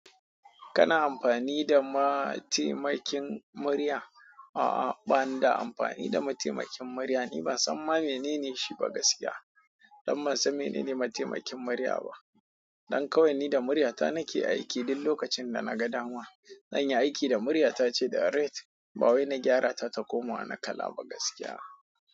Kana amfani da mataimakin murya? A'a, ba ni da amfani da matemakin mirya. Ni ban san ma menene shi ba gaskiya. Dan ban san mene ne matemakin murya ba. Dan kawai ni da muryata nake aiki dun lokacin da na ga dama. Zan yi aiki da muryata ce ga ret, ba wai na gyara ta ta koma wana kala ba gaskiya.